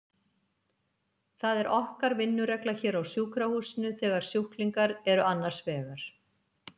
Það er okkar vinnuregla hér á sjúkrahúsinu þegar sjúklingar eru annars vegar.